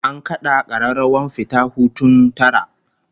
An kada kararrawar fita hutun tara